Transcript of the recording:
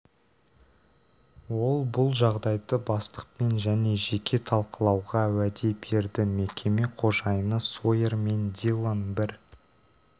ол бұл жағдайды бастықпен және жеке талқылауға уәде берді мекеме қожайыны сойер мен диллон бір